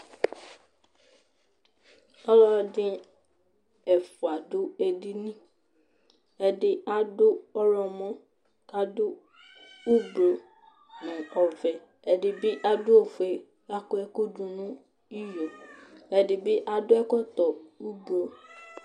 Ɔlɔdɩ ɛfʋa dʋ edini Ɛdɩ adʋ ɔɣlɔmɔ kʋ adʋ ʋblʋ nʋ ɔvɛ, ɛdɩ bɩ adʋ ofue Akɔ ɛkʋ dʋ nʋ iyo Ɛdɩ bɩ adʋ ɛkɔtɔ ʋblʋ